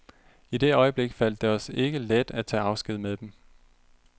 I det øjeblik faldt det os ikke let at tage afsked med dem.